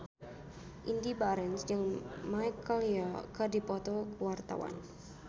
Indy Barens jeung Michelle Yeoh keur dipoto ku wartawan